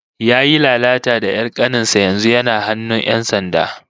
Yayi lalata da 'yar kanin sa, yanzu yana hannun 'yan sanda